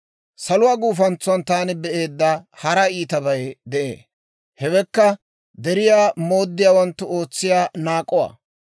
Saluwaa gufantsan taani be'eedda hara iitabay de'ee; hewekka deriyaa mooddiyaawanttu ootsiyaa naak'uwaa.